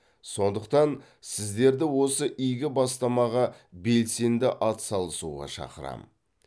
сондықтан сіздерді осы игі бастамаға белсенді атсалысуға шақырамын